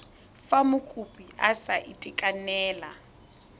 fa mokopi a sa itekanela